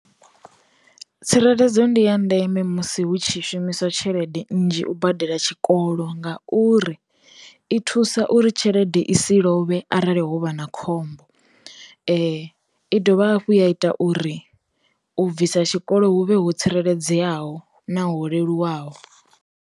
Tsireledzo ndi ya ndeme musi hu tshi shumiswa tshelede nnzhi u badela tshikolo ngauri, i thusa uri tshelede i si lovhe arali hovha na khombo, i dovha hafhu ya ita uri, u bvisa tshikolo hu vhe ho tsireledzeaho na ho leluwaho.